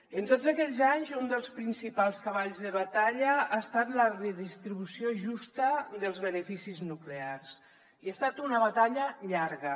en tots aquells anys un dels principals cavalls de batalla ha estat la redistribució justa dels beneficis nuclears i ha estat una batalla llarga